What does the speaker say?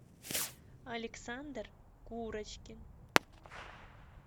александр курочкин